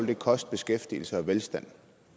det koste beskæftigelse og velstand